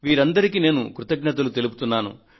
వీరందరికీ ఇవే కృతజ్ఞతలు తెలుపుతున్నాను